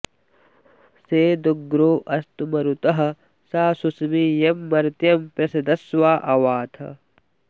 सेदुग्रो अस्तु मरुतः स शुष्मी यं मर्त्यं पृषदश्वा अवाथ